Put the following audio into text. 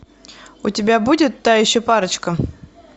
у тебя будет та еще парочка